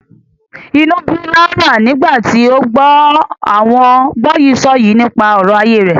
Inú ń bí Laura nígbà tí ó gbọ́ àwọn gbọ́yìísọ̀yìí nípa ọ̀rọ̀ ayé rẹ̀.